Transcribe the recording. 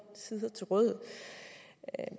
sider til rådighed